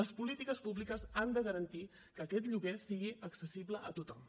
les polítiques públiques han de garantir que aquest lloguer sigui accessible a tothom